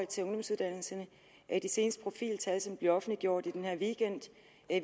til ungdomsuddannelserne de seneste profiltal som bliver offentliggjort i den her weekend